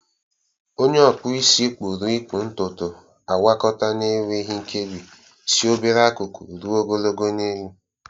Onye okpụ isi kpuru ịkpụ ntutu, agwakọta n'enweghị nkebi si obere akụkụ ruo ogologo n'elu.